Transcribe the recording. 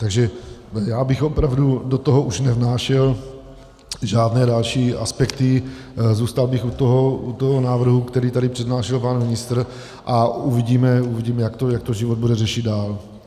Takže já bych opravdu do toho už nevnášel žádné další aspekty, zůstal bych u toho návrhu, který tady přednášel pan ministr, a uvidíme, jak to život bude řešit dál.